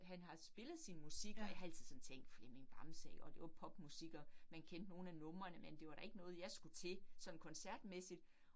Han har spillet sin musik, og jeg har altid sådan tænkt Flemming Bamse iggå det var popmusik, og man kendte nogle af numrene, men det var da ikke noget jeg skulle til sådan koncertmæssigt